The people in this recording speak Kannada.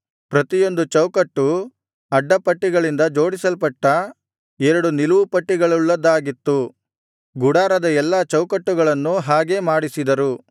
ಪ್ರತಿಯೊಂದು ಚೌಕಟ್ಟೂ ಅಡ್ಡಪಟ್ಟಿಗಳಿಂದ ಜೋಡಿಸಲ್ಪಟ್ಟ ಎರಡು ನಿಲುವುಪಟ್ಟಿಗಳುಳ್ಳದ್ದಾಗಿತ್ತು ಗುಡಾರದ ಎಲ್ಲಾ ಚೌಕಟ್ಟುಗಳನ್ನೂ ಹಾಗೆ ಮಾಡಿಸಿದರು